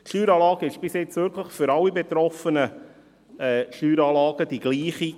Die Steueranlage war bis jetzt wirklich für alle betroffenen Steueranlagen dieselbe.